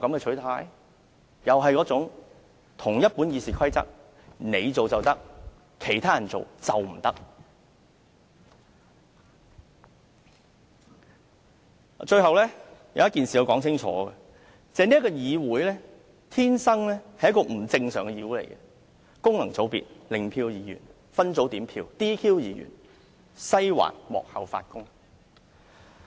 最後，有一點我必須說清楚，那就是這個議會天生是一個不正常的議會：功能界別、零票議員、分組點票、"DQ" 議員、"西環"幕後發功。